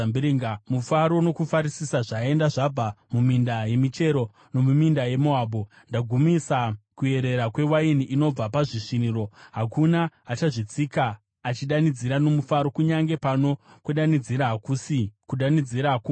Mufaro nokufarisisa zvaenda, zvabva muminda yemichero nomuminda yeMoabhu. Ndagumisa kuyerera kwewaini inobva pazvisviniro; hakuna achazvitsika achidanidzira nomufaro. Kunyange pano kudanidzira, hakusi kudanidzira kwomufaro.